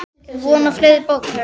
Er von á fleiri bókum?